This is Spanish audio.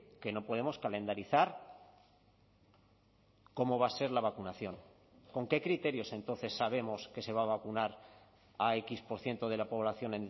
que no podemos calendarizar cómo va a ser la vacunación con qué criterios entonces sabemos que se va a vacunar a equis por ciento de la población